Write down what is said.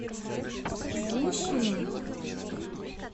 гущиным